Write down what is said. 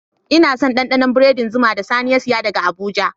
Ina son dandanon biredin zuma da Sani ya saya daga abuja.